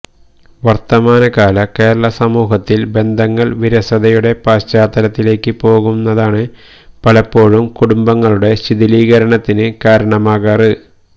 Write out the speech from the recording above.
വർത്തമാനകാല കേരള സമൂഹത്തിൽ ബന്ധങ്ങൾ വിരസതയുടെ പശ്ചാത്തലത്തിലേക്ക് പോകുന്നതാണ് പലപ്പോഴും കുടുംബങ്ങളുടെ ശിഥിലീകരണത്തിന് കാരണമാകാറ്